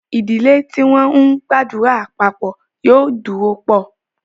Ìdílé tí wọ́n ńgbàdúrà papọ̀ yóò dúró pọ̀